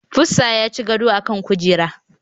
Pussa ya ci gado a kan kujera.